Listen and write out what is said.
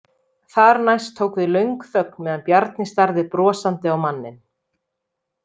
Þar næst tók við löng þögn meðan Bjarni starði brosandi á manninn.